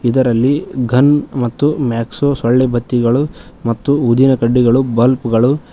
ಇದರಲ್ಲಿ ಗನ್ ಮತ್ತು ಮಾಕ್ಸೋ ಸೊಳ್ಳೆ ಬತ್ತಿಗಳು ಮತ್ತು ಊದಿನ ಕಡ್ಡಿಗಳು ಬಲ್ಬ್ ಗಳು--